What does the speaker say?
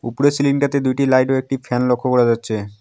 উপরের সিলিং -টাতে দুইটি লাইট ও একটি ফ্যান লক্ষ করা যাচ্ছে।